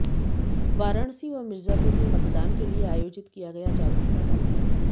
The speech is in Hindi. वाराणसी व मिर्जापुर में मतदान के लिए आयोजित किया गया जागरुकता कार्यक्रम